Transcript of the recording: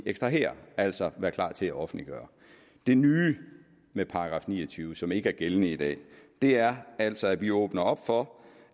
ekstrahere altså være klar til at offentliggøre det nye med § ni og tyve som ikke er gældende i dag er altså at vi åbner op for